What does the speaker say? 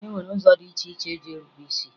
E nwere ụzọ dị iche iche esi erube is